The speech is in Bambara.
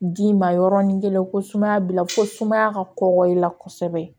D'i ma yɔrɔnin kelen ko sumaya b'i la ko sumaya ka kɔkɔ i la kosɛbɛ